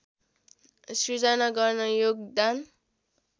सिर्जना गर्न योगदान